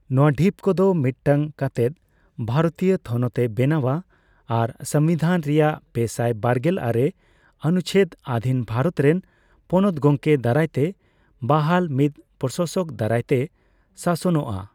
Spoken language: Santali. ᱱᱚᱣᱟ ᱰᱷᱤᱯ ᱠᱚᱫᱚ ᱢᱤᱫ ᱴᱟᱝ ᱠᱟᱛᱮᱫ ᱵᱷᱟᱨᱚᱛᱤᱭᱚ ᱛᱷᱚᱱᱚᱛ ᱮ ᱵᱮᱱᱟᱣᱼᱟ ᱟᱨ ᱥᱚᱝᱵᱤᱰᱷᱟᱱ ᱨᱮᱱᱟᱜ ᱯᱮᱥᱟᱭ ᱵᱟᱨᱜᱮᱞ ᱟᱨᱮ ᱚᱱᱩᱪᱪᱷᱮᱫ ᱟᱫᱷᱤᱱ ᱵᱷᱟᱨᱚᱛ ᱨᱮᱱ ᱯᱚᱱᱚᱛ ᱜᱚᱢᱠᱮ ᱫᱟᱨᱟᱭ ᱛᱮ ᱵᱟᱦᱟᱞ ᱢᱤᱫ ᱯᱨᱚᱥᱟᱥᱚᱠ ᱫᱟᱨᱟᱭ ᱛᱮ ᱥᱟᱥᱚᱱᱚᱜᱼᱟ ᱾